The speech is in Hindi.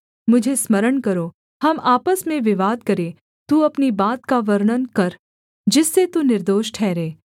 मुझे स्मरण करो हम आपस में विवाद करें तू अपनी बात का वर्णन कर जिससे तू निर्दोष ठहरे